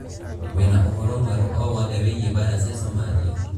wīna ūhoro mweru o wothe wīgie bara cia somalia